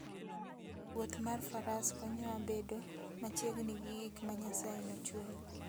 Wuoth mar faras konyowa bedo machiegni gi gik ma Nyasaye nochweyo.